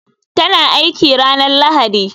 Ta na aiki a ranar Lahadi.